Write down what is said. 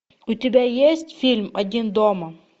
у тебя есть фильм один дома